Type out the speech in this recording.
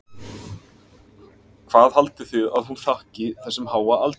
Hvað haldið þið að hún þakki þessum háa aldri?